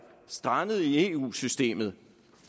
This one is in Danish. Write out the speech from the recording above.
strandet i eu systemet